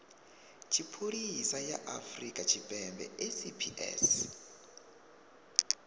tshipholisa ya afrika tshipembe saps